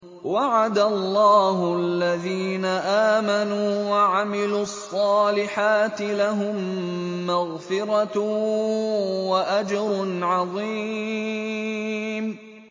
وَعَدَ اللَّهُ الَّذِينَ آمَنُوا وَعَمِلُوا الصَّالِحَاتِ ۙ لَهُم مَّغْفِرَةٌ وَأَجْرٌ عَظِيمٌ